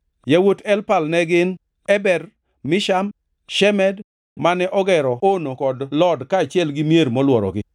Yawuot Elpal ne gin: Eber, Misham, Shemed (mane ogero Ono kod Lod kaachiel gi mier molworogi),